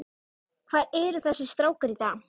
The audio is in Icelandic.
Hvar eru þessir strákar í dag?